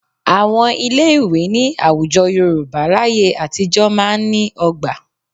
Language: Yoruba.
Àwọn ilé ìwé ní àwùjọ Yorùbá láyé àtijọ́ máa ń ní ọgbà